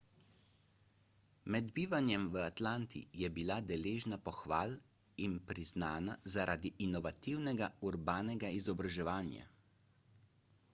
med bivanjem v atlanti je bila deležna pohval in priznana zaradi inovativnega urbanega izobraževanja